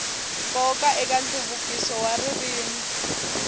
nkoka eka nhluvukiso wa ririmi